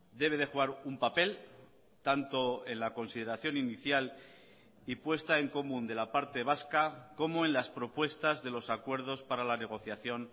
debe de jugar un papel tanto en la consideración inicial y puesta en común de la parte vasca como en las propuestas de los acuerdos para la negociación